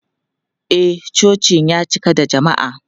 E, cocin ya cika da jama'a.